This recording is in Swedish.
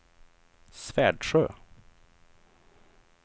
Svärdsjö